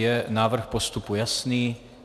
Je návrh postupu jasný?